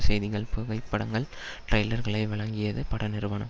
செய்திகள் புகைப்படங்கள் டைலர்களை வழங்கியது பட நிறுவனம்